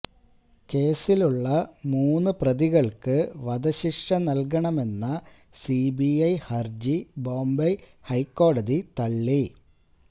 കേസിലുള്ള മൂന്ന് പ്രതികള്ക്ക് വധശിക്ഷ നല്കണമെന്ന സിബിഐ ഹര്ജി ബോംബെ ഹൈക്കോടതി തള്ളി